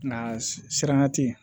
Nka siranya te yen